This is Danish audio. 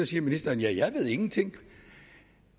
siger ministeren ja jeg ved ingenting